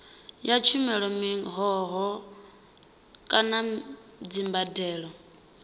ya tshumelo mihoho kana dzimbadelo